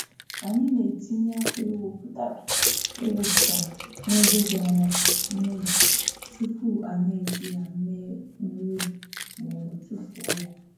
Anyị na-etinye akwa e wepụtara e wepụtara n’ebe dị anya na ụlọ tupu anyị eji ya mee nri ubi ma ọ bụ tụfuo ya.